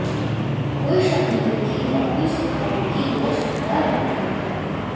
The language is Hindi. कोई शक नहीं कि डेब्यू सितारों की यह शानदार एंट्री है